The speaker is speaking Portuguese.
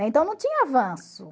Né? Então não tinha avanço.